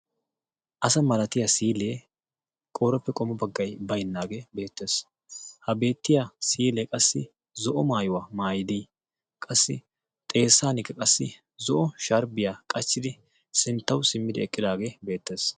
asa malatiya siilee qooreppe qommo baggay baynnaagee beettees ha beettiya siilee qassi zo'o maayuwaa maayidii qassi xeessankka qassi zo'o shaaribiyaa qachchidi sinttawu simmidi eqqidaagee beettees